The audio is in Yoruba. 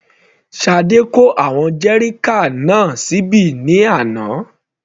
Sade kó àwọn jerrycan náà síbí ní àná.